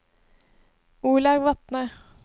Olaug Vatne